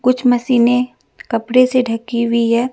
कुछ मशीने कपड़े से ढकी हुई है।